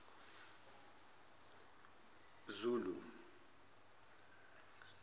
zulu